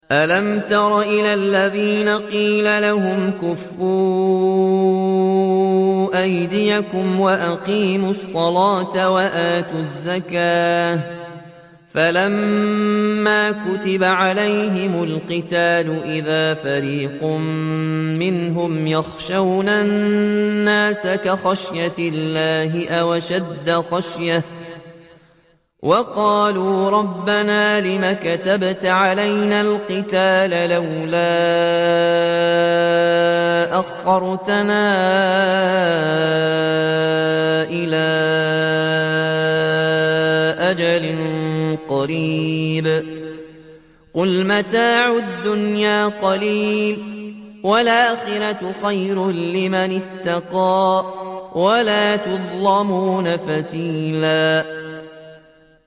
أَلَمْ تَرَ إِلَى الَّذِينَ قِيلَ لَهُمْ كُفُّوا أَيْدِيَكُمْ وَأَقِيمُوا الصَّلَاةَ وَآتُوا الزَّكَاةَ فَلَمَّا كُتِبَ عَلَيْهِمُ الْقِتَالُ إِذَا فَرِيقٌ مِّنْهُمْ يَخْشَوْنَ النَّاسَ كَخَشْيَةِ اللَّهِ أَوْ أَشَدَّ خَشْيَةً ۚ وَقَالُوا رَبَّنَا لِمَ كَتَبْتَ عَلَيْنَا الْقِتَالَ لَوْلَا أَخَّرْتَنَا إِلَىٰ أَجَلٍ قَرِيبٍ ۗ قُلْ مَتَاعُ الدُّنْيَا قَلِيلٌ وَالْآخِرَةُ خَيْرٌ لِّمَنِ اتَّقَىٰ وَلَا تُظْلَمُونَ فَتِيلًا